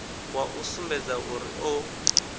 wa u sumbedza uri o